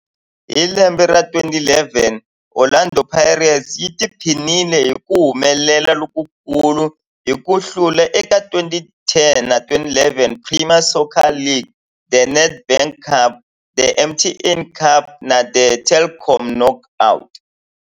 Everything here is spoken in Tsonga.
Hi lembe ra 2011, Orlando Pirates yi tiphinile hi ku humelela lokukulu hi ku hlula eka 2010-11 Premier Soccer League, The Nedbank Cup, The MTN 8 Cup na The Telkom Knockout.